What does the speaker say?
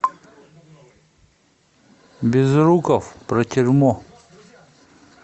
безруков про тюрьму